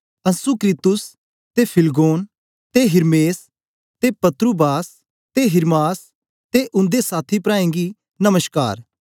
Asyncritus ते Phlegon ते Hermes ते पत्रुबास ते हिर्मास ते उन्दे साथी प्राऐं गी नमश्कार